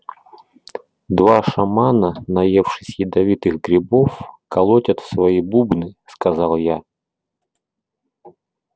два шамана наевшись ядовитых грибов колотят в свои бубны сказал я